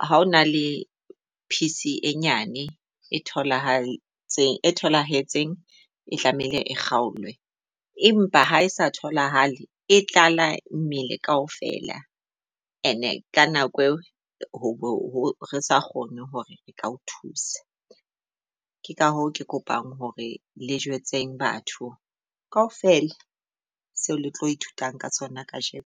Ha o na le piece e nyane e thola tholahetseng e tlamehile e kgolwe. Empa ha e sa tholahale e tlala mmele kaofela. And-e ka nako eo ho re sa kgone hore re ka o thusa. Ka hoo, ke kopang hore le jwetse batho kaofela seo le tlo ithutang ka tsona kasheno.